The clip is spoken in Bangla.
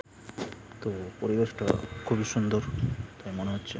তো পরিবেশটা-আ খুবই সুন্দর তাই মনে হচ্ছে ।